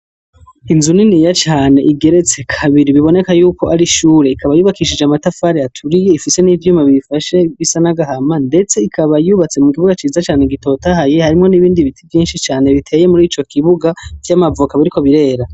Inzu niniya cane igeretse kabiri, biboneka yuko ari ishure. Ikaba yubakishije amatafari aturiye, ifise n'ivyuma bifashe bisa n'agahama, ndetse ikaba yubatse mu kibuga ciza cane gitotahaye, harimwo n'ibindi biti vyinshi cane biteye muri ico kibuga vy'amavoka, biriko birera.